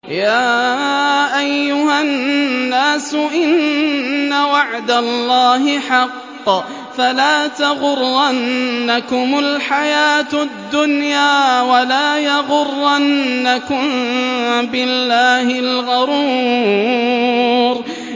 يَا أَيُّهَا النَّاسُ إِنَّ وَعْدَ اللَّهِ حَقٌّ ۖ فَلَا تَغُرَّنَّكُمُ الْحَيَاةُ الدُّنْيَا ۖ وَلَا يَغُرَّنَّكُم بِاللَّهِ الْغَرُورُ